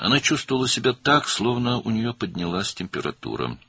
O, sanki hərarəti qalxmış kimi hiss edirdi.